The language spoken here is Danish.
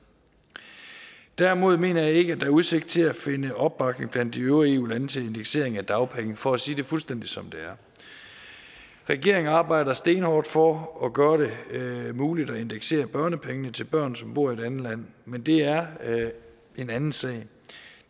derimod mener jeg ikke at der er udsigt til at finde opbakning blandt de øvrige eu lande til en indeksering af dagpenge for at sige det fuldstændig som det er regeringen arbejder stenhårdt for at gøre det muligt at indeksere børnepengene til børn som bor i et andet land men det er en anden sag